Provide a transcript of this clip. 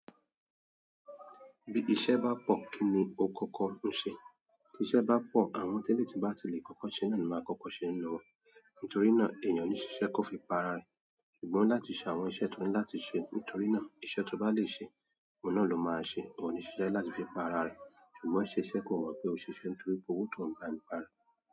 Bí iṣẹ́ bá pọ̀ kí ni o kọ́kọ́ ń ṣe? Bí iṣẹ́ bá pọ̀, àwọn tẹ́lẹ̀ tí bá lè kọ́kọ́ ṣe náà ni máa kọ́kọ́ ṣe nínú wọn. Nítorí náà eeyan oni sise ko fi para re. Ṣùgbọ́n láti ṣe àwọn iṣẹ́ tó ní láti ṣe, nítorí náà iṣẹ́ tó bá lè ṣe, òun náà ló máa ṣe. Òun níṣe láti fi pa ara rẹ̀. Ṣùgbọ́n ṣe iṣẹ́ kò mọ̀ pé ó ń ṣe iṣẹ́ nítorí pé owó tó ń gba nípá rẹ̀.